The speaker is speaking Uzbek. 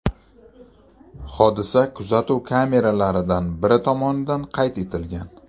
Hodisa kuzatuv kameralaridan biri tomonidan qayd etilgan.